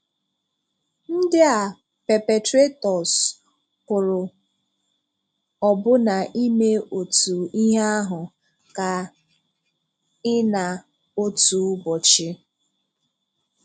Ndị a perpetrators pụrụ ọbụ̀na ime otu ihe ahụ ka ị na otu ụbọchị.